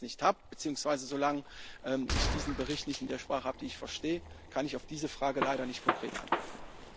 Solange ich das nicht habe, beziehungsweise solange ich diesen Bericht nicht in der Sprache habe, die ich verstehe, kann ich auf diese Frage leider nicht konkret antworten.